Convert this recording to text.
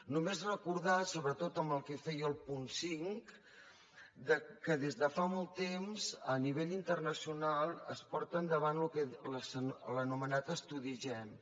només recordar sobretot en el que feia al punt cinc que des de fa molt temps a nivell internacional es porta endavant l’anomenat estudi gem